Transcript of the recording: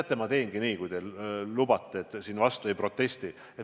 Teate, ma teengi nii, kui te lubate, et te ei protesti.